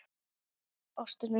Ástin mín!